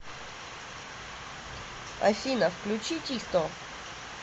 афина включи тисто